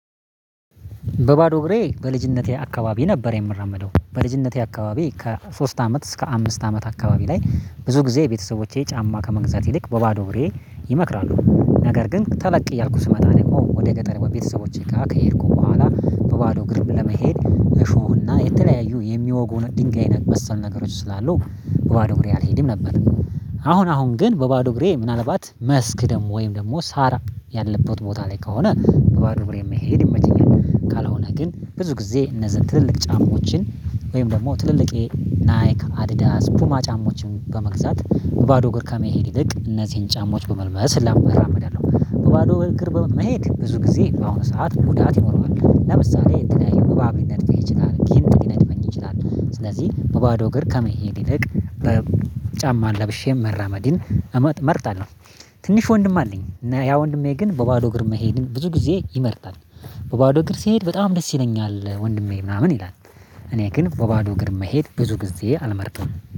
በባዶ እግሬ በልጅነቴ አካባቢ ነበር የምራመደው በልጅነቴ አካባቢ ከሶስት አመት እስከ አምስት አመት አካባቢ ላይ ብዙ ጊዜ ቤተሰቦቼ ጫማ ከመግዛት ይልቅ በባዶ እግሬ ይመክራሉ። ነገር ግን ተለቅ እያልኩ ስመጣ ደግሞ ወደ ገጠር ቤተሰቦቼ ጋር ከሄድኩ በኋላ በባዶ እግርም ለመሄድ እሾህና የተለያዩ የሚወጉ ድንጋይ ነክ መሰል ነገሮች ስላሉ በባዶ እግሬ አልሄድም ነበር። አሁን አሁን ግን በባዶ እግሬ ምናልባት መስክ ደግሞ ወይም ደግሞ ሳር ያለበት ቦታ ላይ ከሆነ በባዶ እግሬ መሄድ ይመቸኛል። ካልሆነ ግን ብዙ ጊዜ እነዚህን ትልልቅ ጫማዎችን ወይም ደግሞ ትልልቅየ ናይክ አዲዳስ ፑማ ጫማዎችን በመግዛት ባዶ እግር ከመሄድ ይልቅ እነዚህን ጫማዎች በመልበስ እላመ እራመዳለሁ። ባዶ እግር በመሄድ ብዙ ጊዜ በሆነ ሰዓት ጉዳት ይኖረዋል ለምሳሌ እንትና ይሄ እባብ ሊነድፍህ ይችላል ጊንጥ ሊነድፈኝ ይችላል። ስለዚህ በባዶ እግር ከመሄድ ይልቅ በጫማ ለብሼም መራመድን እመጥ እመርጣለሁ። ትንሽ ወንድም አለኝ ያ ወንድሜ ግን በባዶ እግር መሄድን ብዙ ጊዜ ይመርጣል። በባዶ እግር ሲሄድ በጣም ደስ ይለኛል ወንድሜ ምናምን ይላል። እኔ ግን በባዶ እግር መሄድ ብዙ ጊዜ አልመርጥም